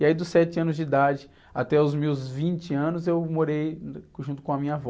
E aí dos sete anos de idade até os meus vinte anos eu morei junto com a minha avó.